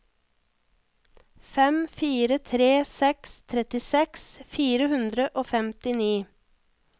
fem fire tre seks trettiseks fire hundre og femtini